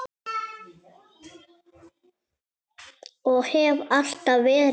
Og hef alltaf verið það.